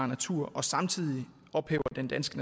natur og samtidig ophæver den danske